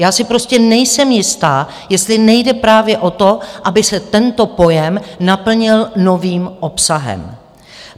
Já si prostě nejsem jista, jestli nejde právě o to, aby se tento pojem naplnil novým obsahem.